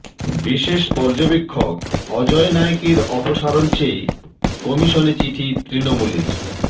বিশেষ পর্যবেক্ষক অজয় নায়েকের অপসারণ চেয়ে কমিশনে চিঠি তৃণমূলের